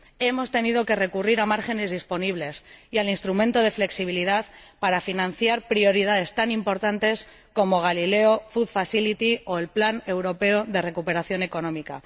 Hemos tenido que recurrir a márgenes disponibles y al Instrumento de Flexibilidad para financiar prioridades tan importantes como Galileo, el mecanismo alimentario o el Plan Europeo de Recuperación Económica.